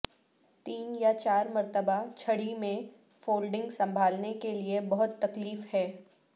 تین یا چار مرتبہ چھڑی میں فولڈنگ سنبھالنے کے لیے بہت تکلیف ہے